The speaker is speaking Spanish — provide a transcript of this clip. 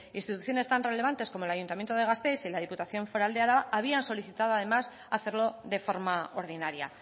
instituciones tan relevantes como el ayuntamiento de gasteiz y la diputación foral de álava habían solicitado además hacerlo de forma ordinaria